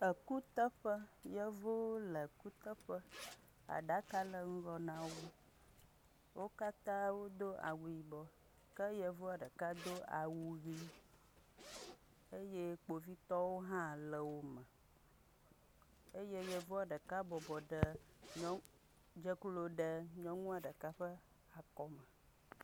Kuteƒe yevuwo le kuteƒe aɖaka le ŋgɔ nawo wo katã wodo awu yibɔ ke yevua ɖeka do awu ɣi eye kpovitɔwo ha le wo me eye yevua ɖeka dze klo ɖe nyɔnua ɖeka ƒe akɔme